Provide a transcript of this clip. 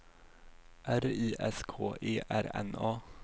R I S K E R N A